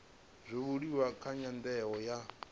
zwa buliwa nga nyandano ya